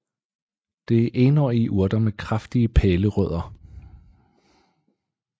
Det er enårige urter med kraftige pælerødder